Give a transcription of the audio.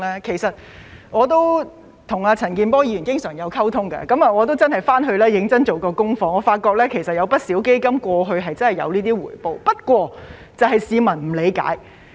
其實我經常跟陳健波議員溝通，亦曾回去認真做功課，發覺不少基金過去真的有這種回報，只不過市民不理解。